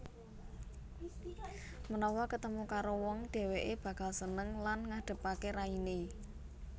Menawa ketemu karo wong dheweke bakal seneng lan ngadepake raine